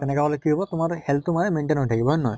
তেনেকা হʼলে কি হʼব তোমাৰ health টো মানে maintain হৈ থাকিব হয় নে নহয়?